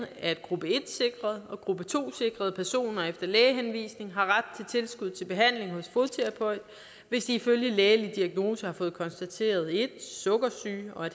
at gruppe en sikrede og gruppe to sikrede personer efter lægehenvisning har ret tilskud til behandling hos fodterapeut hvis de ifølge lægelig diagnose har fået konstateret 1 sukkersyge og